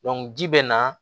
ji bɛ na